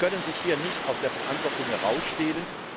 Sie können sich hier nicht aus der Verantwortung herausstehlen.